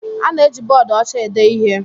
A na-eji bọọdụ ọcha ede ihe.